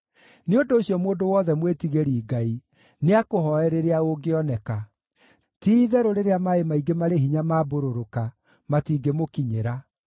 Nĩ ũndũ ũcio mũndũ wothe mwĩtigĩri Ngai nĩakũhooe rĩrĩa ũngĩoneka; ti-itherũ rĩrĩa maaĩ maingĩ marĩ hinya maambũrũrũka, matingĩmũkinyĩra.